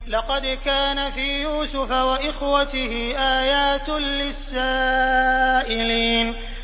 ۞ لَّقَدْ كَانَ فِي يُوسُفَ وَإِخْوَتِهِ آيَاتٌ لِّلسَّائِلِينَ